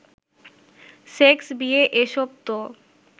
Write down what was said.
sex, বিয়ে, এসব তো